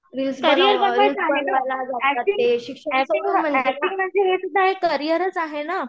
acting म्हणजे हे सुद्धा एक करिअरचं आहे ना